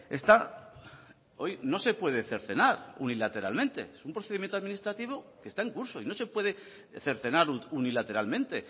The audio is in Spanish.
está hoy no se puede cercenar unilateralmente es un procedimiento administrativo que está en curso y no se puede cercenar unilateralmente